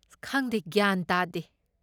ꯈꯪꯗꯦ ꯒ꯭ꯌꯥꯟ ꯇꯥꯗꯦ.